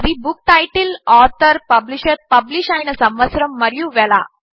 అవి book title author publisher publish అయిన సంవత్సరము మరియు వెల